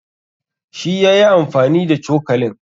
Shi ya yi amfani da cokalin.